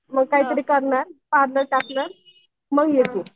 मग काहीतरी करणार पार्लर टाकणार मग ये तू.